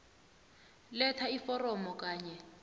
letha iforomo kanye